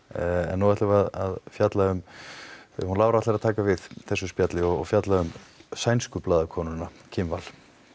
nú ætlum við að fjalla um hún Lára ætlar að taka við þessu spjalli og fjalla um sænsku blaðakonuna Kim Wall